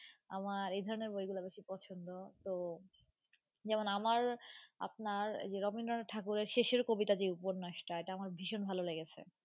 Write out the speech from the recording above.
আমার এই ধরণের বইগুলা বেশি পছন্দ তো যেমন আমার আপনার এই যে রবীন্দ্রনাথ ঠাকুরের শেষের কবিতা যে উপন্যাসটা এটা আমার ভীষণ ভালো লেগেছে